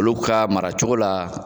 Olu ka mara cogo la